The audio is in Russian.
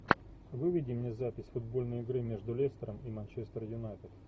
выведи мне запись футбольной игры между лестером и манчестер юнайтед